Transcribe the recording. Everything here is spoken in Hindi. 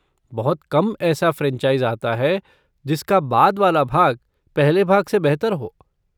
बहुत कम ऐसा फ़्रैनचाइज़ आता है जिसका बाद वाला भाग पहले भाग से बेहतर हो।